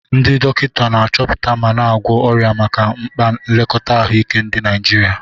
Ndị dọkịta na-achọpụta ma na-agwọ ọrịa maka mkpa nlekọta ahụike ndị Naijiria.